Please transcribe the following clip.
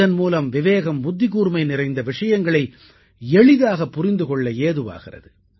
இதன் மூலம் விவேகம் புத்திக்கூர்மை நிறைந்த விஷயங்களை எளிதாகப் புரிந்து கொள்ள ஏதுவாகிறது